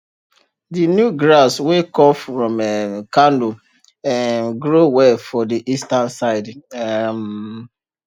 the new grass wey comf from um kano um grow well for the eastern side um